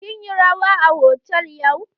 Kin yi rawa a hotal yau?